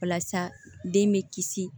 Walasa den bɛ kisi